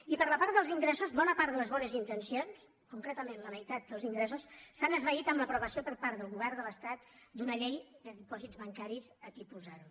i per la part dels ingressos bona part de les bones intencions concretament la meitat dels ingressos s’han esvaït amb l’aprovació per part del govern de l’estat d’una llei de dipòsits bancaris a tipus zero